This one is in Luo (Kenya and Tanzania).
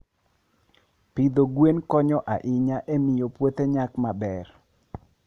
Pidho gwen konyo ahinya e miyo puothe nyak maber.